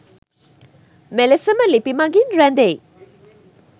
මෙලෙසම ලිපි මඟින් රැදෙයි